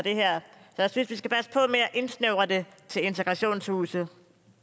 jeg synes at indsnævre det til integrationshuse